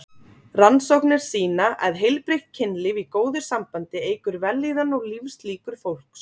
Rannsóknir sýna að heilbrigt kynlíf í góðu sambandi eykur vellíðan og lífslíkur fólks.